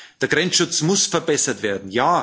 Ja der Grenzschutz muss verbessert werden.